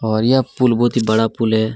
और यह पूल बहुत ही बड़ा पुल है।